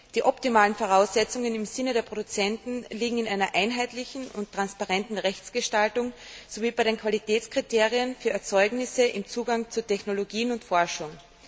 Die optimalen Voraussetzungen im Sinne der Produzenten liegen in einer einheitlichen und transparenten Rechtsgestaltung, sowie bei den Qualitätskriterien für Erzeugnisse im Zugang zu Technologien und Forschung.